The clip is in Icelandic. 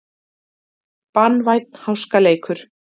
Banvænn háskaleikur